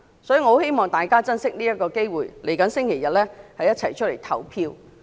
故此，我很希望大家珍惜這次機會，本周日一起出來投票。